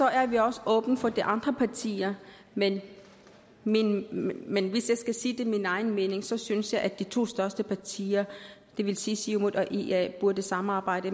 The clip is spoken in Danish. er vi også åbne over for de andre partier men men hvis jeg skal sige min egen mening så synes jeg at de to største partier det vil sige siumut og ia burde samarbejde